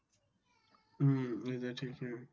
হম এটা ঠিকই।